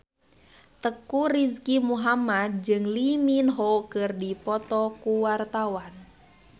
Teuku Rizky Muhammad jeung Lee Min Ho keur dipoto ku wartawan